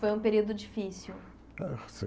Foi um período difícil. É foi